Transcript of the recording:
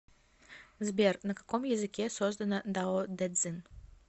сбер на каком языке создано даодэцзин